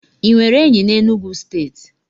Ị nwere enyi na Enugwu steeti?